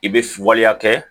I bɛ waleya kɛ